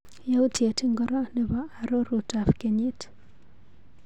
Yautyet ingoro nebo arorutap kenyit?